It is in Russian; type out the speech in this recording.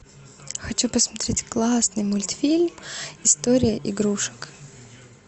хочу посмотреть классный мультфильм история игрушек